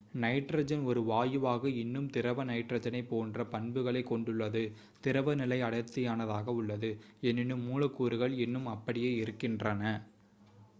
nitrogen ஒரு வாயுவாக இன்னும் திரவ நைட்ரஜனைப் போன்ற பண்புகளைக் கொண்டுள்ளது திரவ நிலை அடர்த்தியானதாக உள்ளது எனினும் மூலக்கூறுகள் இன்னும் அப்படியே இருக்கின்றன